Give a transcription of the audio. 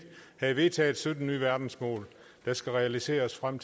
havde vedtaget sytten nye verdensmål der skal realiseres frem